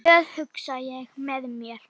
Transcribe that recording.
Glöð, hugsa ég með mér.